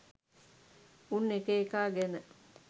උන් එක එකා ගැන